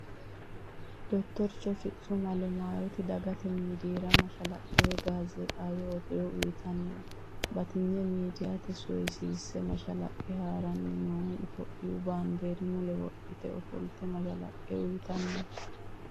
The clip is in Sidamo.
Dottorcho fitsum alemayoti dagate miidiiyira mashalaqqe woyi gaazeexaawe odoo uyitanni no. batinye miidiiyaati soyissese mashalaqqe haaranni noohu. itiyoophiyu baandiira mule wodhite ofolte mashalaqqe uyitanni no.